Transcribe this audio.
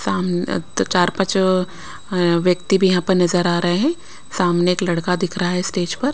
सामने दो चार-पांच व्यक्ति भी यहाँ पर नजर आ रहे हैं सामने एक लड़का दिख रहा है स्टेज पर।